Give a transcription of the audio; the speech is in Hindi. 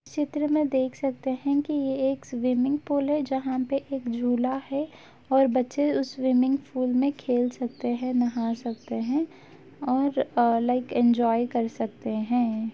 चित्र में देख सकते हैं कि ये एक स्विमिंग पूल है जहां पे एक झूला है और बच्चे उस स्विमिंग पूल में खेल सकते हैं नहा सकते हैं और आ लाइक इंजॉय कर सकते हैं।